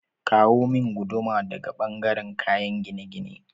Kawo min guduma daga ɓangaren kayen gine-gine